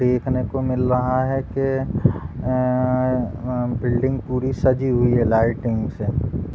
देखने को मिल रहा है कि अ अ अ बिल्डिंग पूरी सजी हुई है लाइटिंग से।